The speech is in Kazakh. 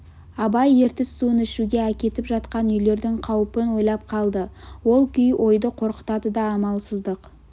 абай ертіс суын ішуге әкетіп жатқан үйлердің қаупін ойлап қалды ол күй ойды қорқытады да амалсыздық